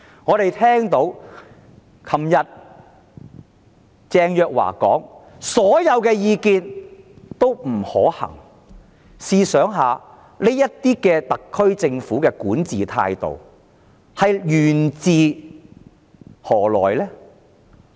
我們昨天聽到鄭若驊說所有建議均不可行，試想想，特區政府這種管治態度源自甚麼呢？